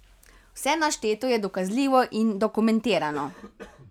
Vse našteto je dokazljivo in dokumentirano.